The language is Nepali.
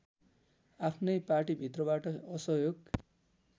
आफ्नै पाटीभित्रबाट असहयोग